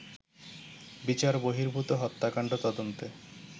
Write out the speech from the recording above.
বিচার বহির্ভূত হত্যাকাণ্ড তদন্তে